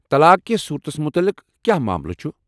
طلاق کس صورتس متعلق کیٛاہ معاملہٕ چُھ ؟